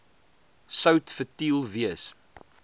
sout futiel wees